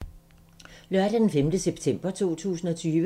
Lørdag d. 5. september 2020